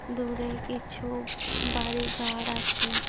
দূরে কিছু বাড়ি ঘর আছে।